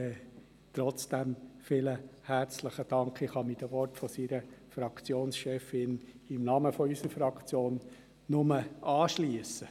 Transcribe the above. Trotzdem vielen herzlichen Dank! Ich kann mich hier im Namen unserer Fraktion seiner Fraktionschefin anschliessen.